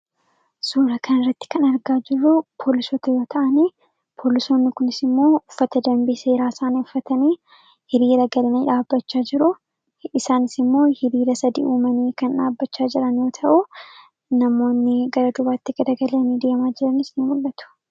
Suura kana irratti kan argaa jirru poolisoota yoo ta'an poolisoonni kunis immoo uffata danbii seeraa isaanii uffatanii hiriira galanii dhaabbachaa jiru isaanis immoo hiriira sadi uumanii dhaabbachaa jiru.